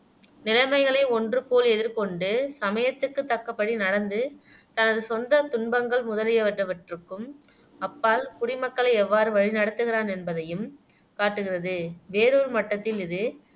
நிலைமைகளை ஒன்றுபோல எதிர்கொண்டு சமயத்துக்குத் தக்கபடி நடந்து தனது சொந்தத் துன்பங்கள் முதலியனவற்றுக்கும் அப்பால் குடிமக்களை எவ்வாறு வழிநடத்துகிறான் என்பதையும் காட்டுகிறது வேறொரு மட்டத்தில் இது